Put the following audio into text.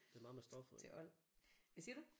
Til old. Hvad siger du?